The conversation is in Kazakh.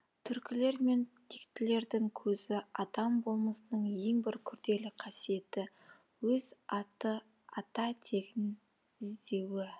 түркілер мен тектілердің көзі адам болмысының ең бір күрделі қасиеті өз ата тегін іздеуі